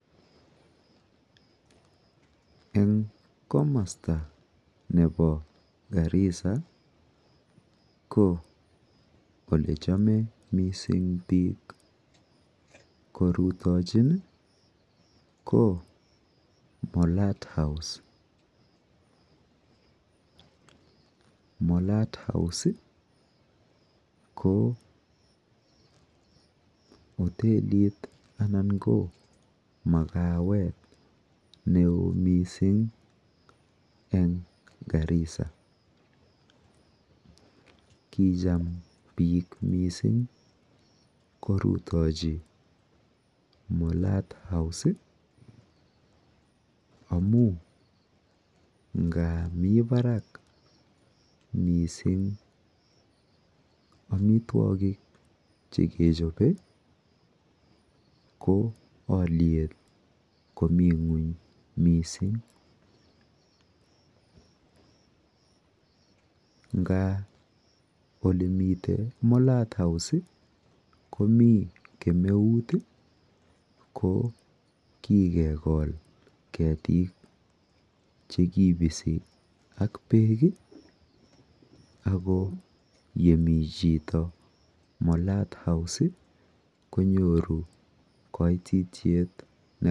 Eng komasta nepo Garissa ko olechome mising biik korutochin ko Molat house. Molat house ko hotelit anan mukawet neo mising eng Garissa. Kicham biik mising korutochi Mulat house, amu nga mi barak mising amitwokik chekechope, ko alyet komi ng'uny mising. Ngaa olemite Molat house komi kemeut ako kikekol ketik chekibisi ak beek ako yemi chito Molat house konyoru kaitityet...